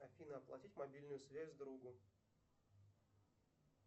афина оплатить мобильную связь другу